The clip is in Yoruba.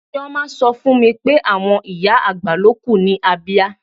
Chioma sọ fún mi pé àwọn ìyá-àgbà ló kù ní Abia.